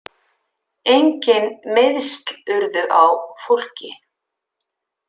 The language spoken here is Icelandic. Engin meiðsl urðu á fólki